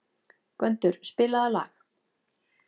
Gvendur, spilaðu lag.